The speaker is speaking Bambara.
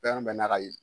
Fɛn bɛɛ n'a ka ye